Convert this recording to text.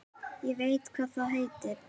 Ég veit hvað það heitir